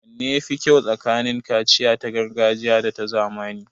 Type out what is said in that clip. Wanne ya fi kyau tsakanin kaciya ta gargajiya da ta zamani?